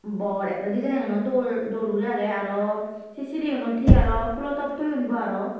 bor ekkore dijaenano dol dol guri agey arw se siri unot hi arw pulo top toyon bo arow.